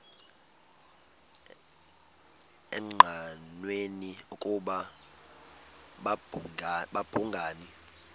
engqanweni ukuba babhungani